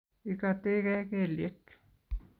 igatekei kelyek